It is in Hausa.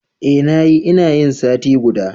Eh na yi, ina yin sati guda.